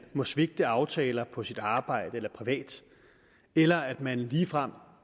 må svigte aftaler på sit arbejde eller privat eller at man ligefrem